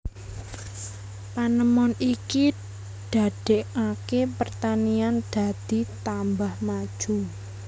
Panemon iki dadekake pertanian dadi tambah maju